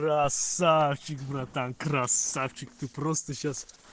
красавчик братан красавчик ты просто сейчас